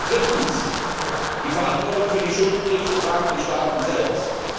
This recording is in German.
Drittens, die Verantwortung für die Schuldenkrise tragen die Staaten selbst.